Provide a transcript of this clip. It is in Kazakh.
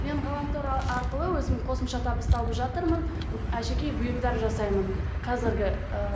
мен ғаламтор арқылы өзім қосымша табыс тауып жатырмын әшекей бұйымдар жасаймын қазіргі ыыы